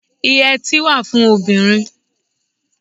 Ìyètí wà fún obìnrin.